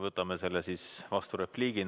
Võtame seda kui vasturepliiki.